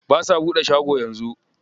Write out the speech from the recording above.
Ba sa buɗe shago yanzu.